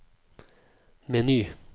meny